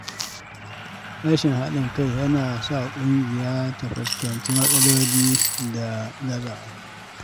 Rashin haɗin kai yana sa ƙungiya ta fuskanci matsaloli da gazawa.